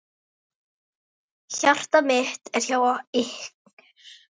Hjarta mitt er hjá ykkur.